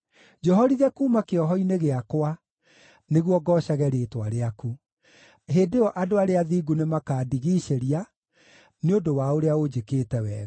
Njohorithia kuuma kĩoho-inĩ gĩakwa, nĩguo ngoocage rĩĩtwa rĩaku. Hĩndĩ ĩyo andũ arĩa athingu nĩmakandigiicĩria, nĩ ũndũ wa ũrĩa ũnjĩkĩte wega.